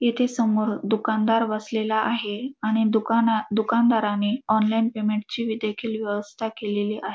येथे समोर दुकानदार बसलेला आहे आणि दुकानात दुकानदाराने ऑनलाइन पेमेंट ची देखील व्यवस्था केलेली आहे.